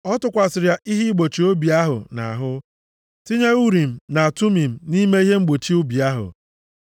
O tụkwasịrị ya ihe igbochi obi ahụ nʼahụ, tinye Urim na Tumim nʼime ihe igbochi obi ahụ.